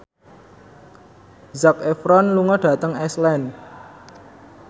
Zac Efron lunga dhateng Iceland